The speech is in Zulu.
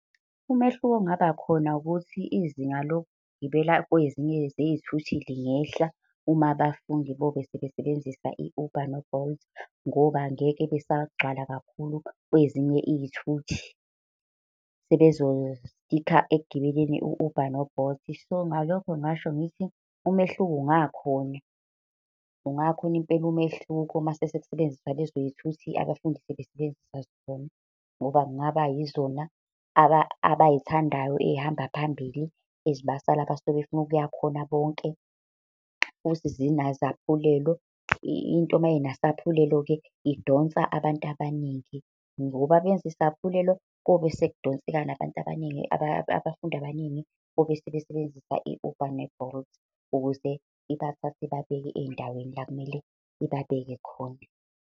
Umehluko ongabakhona ukuthi izinga lokugibela kwezinye zey'thuthi lingehla, uma abafundi bobe sebesebenzisa i-Uber no-Bolt. Ngoba angeke besagcwala kakhulu kwezinye iy'thuthi. Sebezo-sticker ekugibeleni, u-Uber no-Bolt. So, ngalokho ngingasho ngithi umehluko ungakhona ungakhona impela umehluko mase sekusebenziswa lezoy'thuthi abafundi sebesebenzisa zona. Ngoba kungaba yizona abay'thandayo ey'hamba phambili, ezibasa lapha abasuke befuna ukuya khona bonke. Ukuthi zinazaphulelo, into mayinasaphulelo-ke, idonsa abantu abaningi, ngoba benze isaphulelo kobe sekudonseka nabantu abaningi abafundi abaningi bobe sebesebenzisa i-Uber ne-Bolt, ukuze ibathathe ibabeke ey'ndaweni la kumele ibabeke khona.